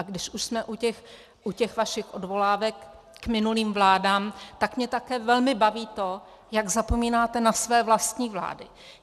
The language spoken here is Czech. A když už jsme u těch vašich odvolávek k minulým vládám, tak mě také velmi baví to, jak zapomínáte na své vlastní vlády.